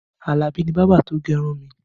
Alabi ni bábà tó gẹ irun mi